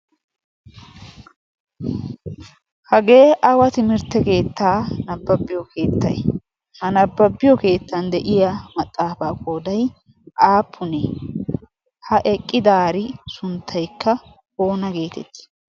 hagee aawa timirtte keettaa nabbabbiyo keettay ha nabbabbiyo keettan de'iya maxaafaa koodai aapunee ha eqqi daari sunttaikka oona geetetti?